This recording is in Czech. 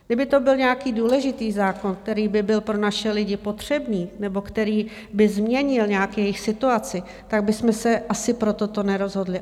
Kdyby to byl nějaký důležitý zákon, který by byl pro naše lidi potřebný nebo který by změnil nějak jejich situaci, tak bychom se asi pro toto nerozhodli.